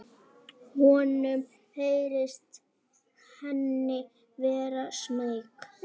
Honum heyrist hún vera smeyk.